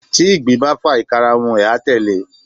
tí igbín ba fa, ikarun a telé